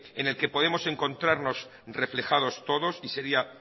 en el que podemos encontrarnos reflejados todos y sería